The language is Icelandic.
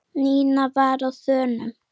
Nína var á þönum.